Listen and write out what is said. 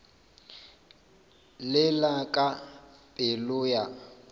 le la ka pelo ya